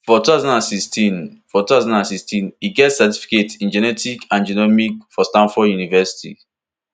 for two thousand and sixteen for two thousand and sixteen e get certificate in genetics and genomics for stanford university